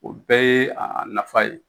O bɛɛ ye a a nafa ye